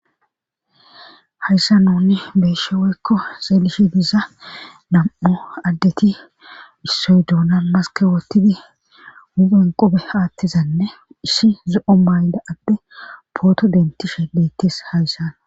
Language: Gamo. hayssa nuni beeshe woykko seelishe diza nam7o addeti issoy duona maske wottidi hupen qobe haattizanne ishi zo7o mayda adde pooto dentishe leettes hayssana